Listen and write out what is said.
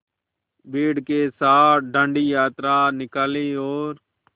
भीड़ के साथ डांडी यात्रा निकाली और